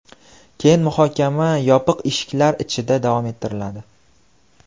Keyin muhokama yopiq eshiklar ichida davom ettiriladi.